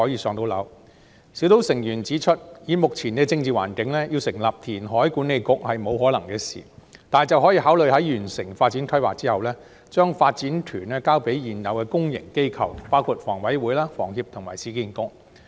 專責小組成員指出，以目前的政治環境，要成立填海管理局是不可能的事，但卻可以考慮在完成發展規劃後，把發展權交給現有的公營機構，包括香港房屋委員會、香港房屋協會及市區重建局。